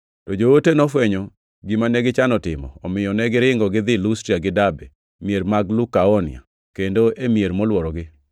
To joote nofwenyo gima negichano timo, omiyo negiringo gidhi Lustra gi Derbe, mier mag Lukaonia, kendo e mier molworogi,